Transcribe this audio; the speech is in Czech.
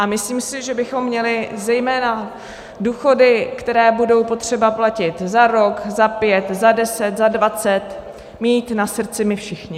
A myslím si, že bychom měli zejména důchody, které budou potřeba platit za rok, za pět, za deset, za dvacet mít na srdci my všichni.